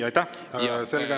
Aitäh!